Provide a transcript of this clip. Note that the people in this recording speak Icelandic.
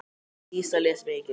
Dísa les mikið.